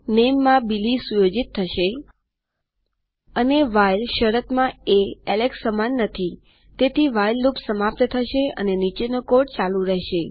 નામે માં બિલી સેટ થશેઅને વ્હાઇલ શરતમાં એ એલેક્સ સમાન નથીતેથી વ્હાઇલ લૂપ સમાપ્ત થશે અને નીચેનો કોડ ચાલુ રેહશે